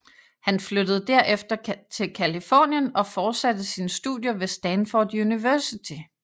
Han flyttede derefter til Californien og fortsatte sine studier ved Stanford University